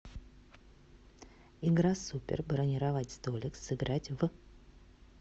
игра супер бронировать столик сыграть в